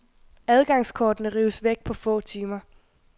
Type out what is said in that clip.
Adgangskortene rives væk på få timer.